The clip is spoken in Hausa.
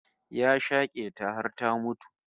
Ya shake ta har ta mutu